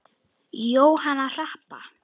Jóhanna Harpa.